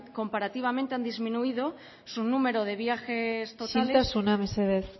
comparativamente han disminuido su número de viajes totales isiltasuna mesedez